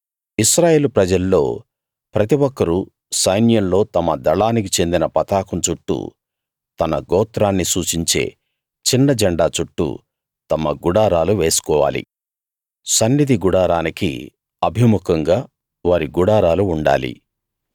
ఇశ్రాయేలు ప్రజల్లో ప్రతి ఒక్కరూ సైన్యంలో తమ దళానికి చెందిన పతాకం చుట్టూ తన గోత్రాన్ని సూచించే చిన్నజెండా చుట్టూ తమ గుడారాలు వేసుకోవాలి సన్నిధి గుడారానికి అభిముఖంగా వారి గుడారాలు ఉండాలి